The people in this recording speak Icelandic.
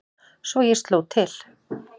Svo ég sló til.